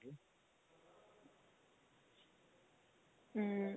ਹਮ